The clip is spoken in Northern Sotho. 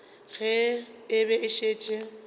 ge e be e šetše